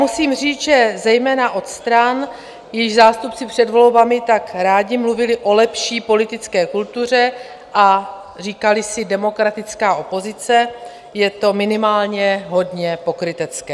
Musím říct, že zejména od stran, jejichž zástupci před volbami tak rádi mluvili o lepší politické kultuře a říkali si demokratická opozice, je to minimálně hodně pokrytecké.